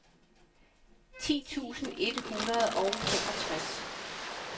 ti tusind et hundrede og femogtres